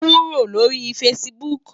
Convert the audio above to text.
Kúró lóri fãsibúk